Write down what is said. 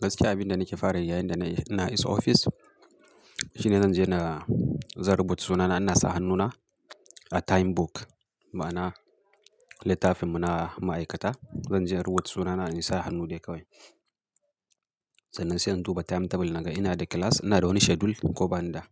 Gaskiya abin da nake fara yayin da isa ofis. Shine zanje in rubuta sunana in saka hannuna a timebook. Ma’anar: littafinmu na ma’aikata. Zan je in rubuta sunana in saka hannu dai kawai. Sannan sai in duba jadawalin lokaci in ga ina da class, ina da wani schedule ko ba ni da.